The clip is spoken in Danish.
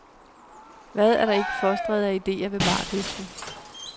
Hvad er der ikke fostret af idéer ved bardisken.